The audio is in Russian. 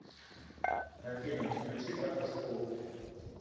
афина включи автошколу